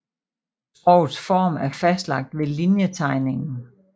Skrogets form er fastlagt ved linjetegningen